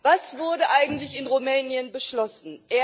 Was wurde eigentlich in Rumänien beschlossen?